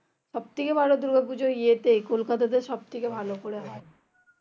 সব থেকে ভালো দূর্গা পুজো এতে কোলকাতাতে সব থেকে ভালো করে হয়